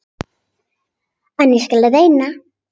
En ég skal reyna.